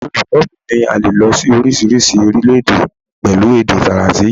Olùkọ́ mi ní a lè lọ sí oríṣiríṣi orílẹ̀-èdè pẹ̀lú èdè Faransé yìí.